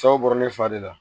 Cɛw bɔrɛ fa de la